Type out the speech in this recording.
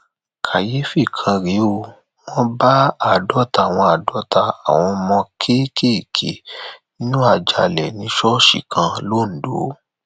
kàyééfì kan rèé ó wọn bá àádọta àwọn àádọta àwọn ọmọ kéékèèké nínú àjàalẹ ní ṣọọṣì kan lońdó